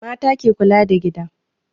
Mata ke kula da gida